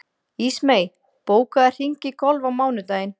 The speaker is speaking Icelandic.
Ísmey, bókaðu hring í golf á mánudaginn.